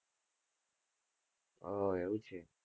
ઓહ! એવું છે?